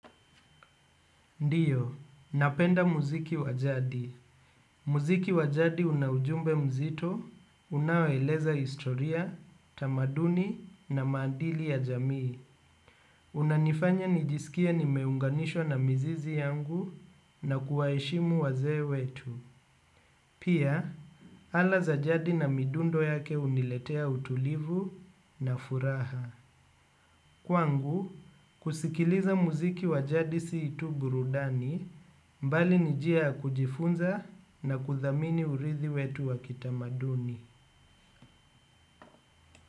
Ndiyo, napenda muziki wajadi. Muziki wa jadi una ujumbe mzito, unaoeleza historia, tamaduni na maandili ya jamii. Unanifanya nijisikie nimeunganishwa na mizizi yangu na kuwaheshimu wazee wetu. Pia, ala za jadi na midundo yake huniletea utulivu na furaha. Kwangu, kusikiliza muziki wa jadi si tu burudani mbali ni jia ya kujifunza na kuthamini urithi wetu wa kitamaduni.